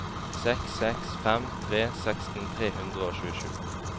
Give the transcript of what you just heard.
seks seks fem tre seksten tre hundre og tjuesju